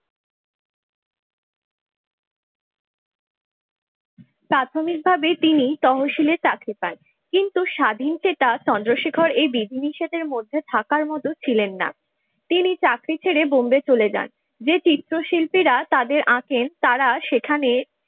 প্রাথমিকভাবেই তিনি তহশীলে চাকরি পান কিন্তু স্বাধীনচেতা চন্দ্রশেখর এই বিধি নিষেধের মধ্যে থাকার মতো ছিলেন না। তিনি চাকরি ছেড়ে বোম্বে চলে যান। যে চিত্রশিল্পীরা তাদের আঁকেন তারা সেখানে